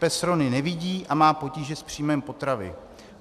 Pes Rony nevidí a má potíže s příjmem potravy.